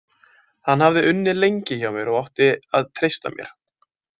Hann hafði unnið lengi hjá mér og átti að treysta mér.